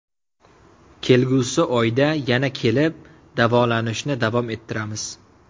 Kelgusi oyda yana kelib, davolanishni davom ettiramiz.